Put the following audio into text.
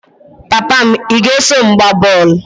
Papa m, ị ga-eso m gbaa bọl?